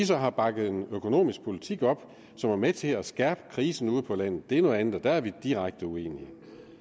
så har bakket en økonomisk politik op som var med til at skærpe krisen ude på landet er noget andet og der var vi direkte uenige